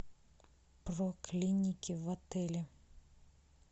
про клиники в отеле